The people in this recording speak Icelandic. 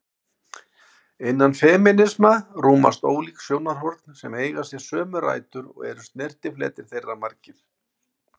Innan femínisma rúmast ólík sjónarhorn sem eiga sér sömu rætur og eru snertifletir þeirra margir.